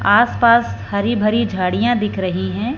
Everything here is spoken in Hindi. आस पास हरी भरी झाड़ियां दिख रही हैं।